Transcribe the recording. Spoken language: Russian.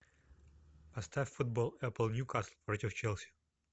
поставь футбол апл ньюкасл против челси